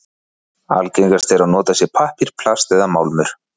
Algengast er að notað sé pappír, plast eða málmur.